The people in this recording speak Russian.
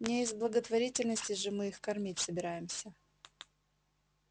не из благотворительности же мы их кормить собираемся